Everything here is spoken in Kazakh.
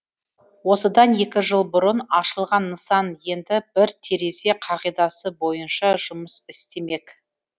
осыдан екі жыл бұрын ашылған нысан енді бір терезе қағидасы бойынша жұмыс істемек